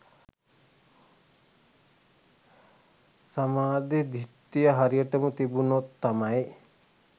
සම්මා දිට්ඨිය හරියට තිබුණොත් තමයි